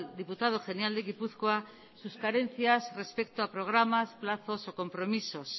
diputado general de gipuzkoa sus carencias respecto a programas plazos o compromisos